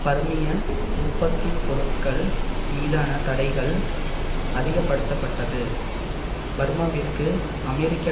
பர்மிய உற்பத்தி பொருட்கள் மீதான தடைகள் அதிகப்படுத்தப்பட்டது பர்மாவிற்கு அமெரிக்க